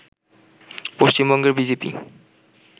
পশ্চিমবঙ্গের B J P